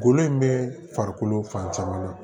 Golo in bɛ farikolo fan caman na